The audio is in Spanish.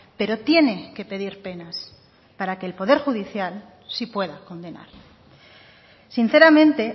pero tiene que pedir penas para que el poder judicial sí pueda condenar sinceramente